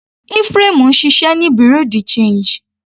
Ephraim ń ṣiṣẹ́ ní Bereau de change.